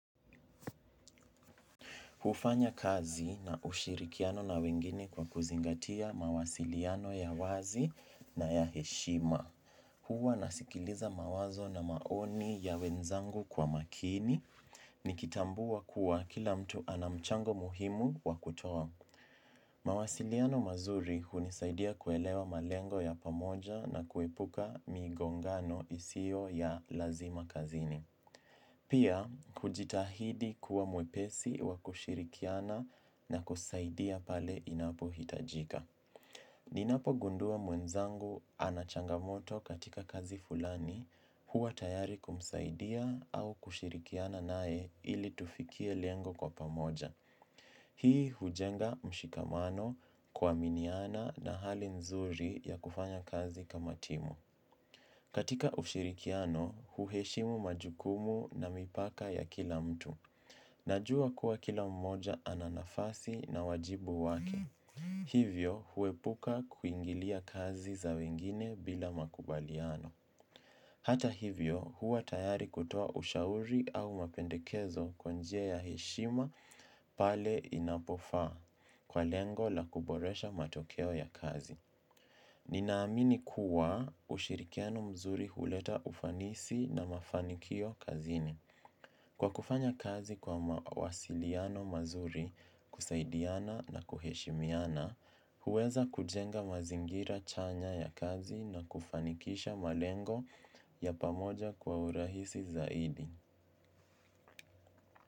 Hufanya kazi na ushirikiano na wengine kwa kuzingatia mawasiliano ya wazi na ya heshima. Huwa nasikiliza mawazo na maoni ya wenzangu kwa makini, nikitambua kuwa kila mtu anamchango muhimu wakutoa. Mawasiliano mazuri hunisaidia kuelewa malengo ya pamoja na kuepuka migongano isiyo ya lazima kazini. Pia, kujitahidi kuwa mwepesi wa kushirikiana na kusaidia pale inapo hitajika. Ninapo gundua mwenzangu anachangamoto katika kazi fulani huwa tayari kumsaidia au kushirikiana naye ili tufikie lengo kwa pamoja. Hii hujenga mshikamano kua miniana na hali nzuri ya kufanya kazi kama timu. Katika ushirikiano, huheshimu majukumu na mipaka ya kila mtu. Najua kuwa kila mmoja ananafasi na wajibu wake. Hivyo, huepuka kuingilia kazi za wengine bila makubaliano. Hata hivyo, huwa tayari kutoa ushauri au mapendekezo kwanjia ya heshima pale inapofaa kwa lengo la kuboresha matokeo ya kazi. Ninaamini kuwa ushirikiano mzuri huleta ufanisi na mafanikio kazini. Kwa kufanya kazi kwa wasiliano mazuri kusaidiana na kuheshimiana, huweza kujenga mazingira chanya ya kazi na kufanikisha malengo ya pamoja kwa urahisi zaidi.